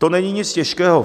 To není nic těžkého.